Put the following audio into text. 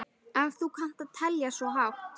Ef þú kannt að telja svo hátt.